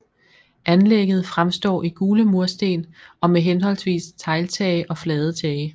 Anlægget fremstår i gule mursten og med henholdsvis tegltage og flade tage